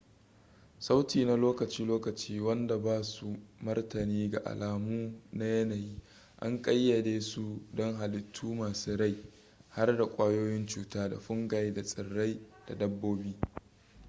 sauti na lokaci-lokaci wanda ba su martani ga alamu na yanayi an kayyade su don hallitu masu rai har da kwayoyin cuta da fungi da tsirai da dabbobi